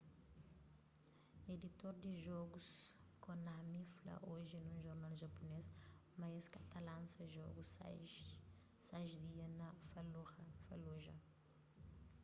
editor di jogus konami fla oji nun jornal japunês ma es ka ta lansa jogu sais dia na fallujah